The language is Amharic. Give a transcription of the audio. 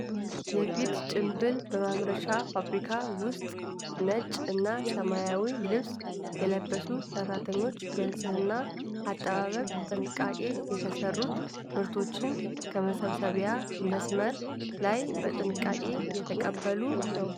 የፊት ጭንብል በማምረቻ ፋብሪካ ውስጥ ነጭ እና ሰማያዊ ልብስ የለበሱ ሰራተኞች በንፅህና አጠባበቅ ጥንቃቄ የተሰሩትን ምርቶች ከመሰብሰቢያ መስመር ላይ በጥንቃቄ እየተቀበሉ ነው።